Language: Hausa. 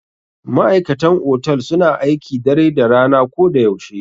Ma'aikatan otal suna aiki dare da rana ko da yaushe.